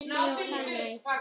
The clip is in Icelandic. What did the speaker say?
Þín, Fanney.